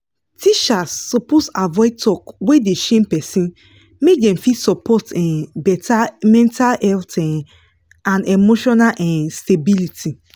teachers suppose avoid talk wey dey shame person make dem fit support um better mental health um and emotional um stability